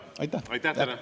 Aitäh teile!